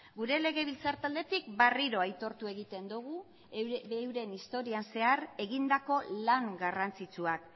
gure legebiltzar taldetik berriro aitortu egiten dugu euren historian zehar egindako lan garrantzitsuak